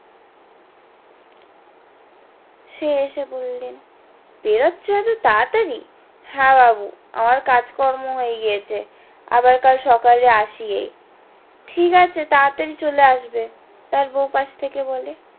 সে এসে বললো সে যাচ্ছে এতো তাড়াতাড়ি হ্যাঁ বাবু আমার কাজ কর্ম হয়ে গিয়াছে আবার কাল সকালে আসি এই ঠিক আছে তাড়াতাড়ি চলে আসবে তার বৌ পাস্ থেকে বলে